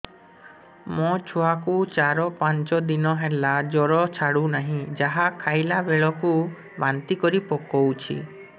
ମୋ ଛୁଆ କୁ ଚାର ପାଞ୍ଚ ଦିନ ହେଲା ଜର ଛାଡୁ ନାହିଁ ଯାହା ଖାଇଲା ବେଳକୁ ବାନ୍ତି କରି ପକଉଛି